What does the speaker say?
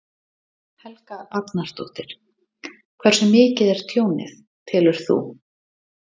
Helga Arnardóttir: Hversu mikið er tjónið, telur þú?